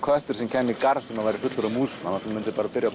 köttur sem kemur í garð sem er fullur af músum hann byrjar